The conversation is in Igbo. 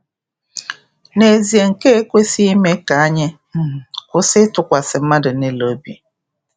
N’ezie, nke a ekwesịghị ime ka anyị um kwụsị ịtụkwasị mmadụ niile obi.